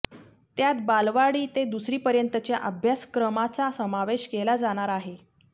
त्यात बालवाडी ते दुसरीपर्यंतच्या अभ्यासक्रमाचा समावेश केला जाणार आहे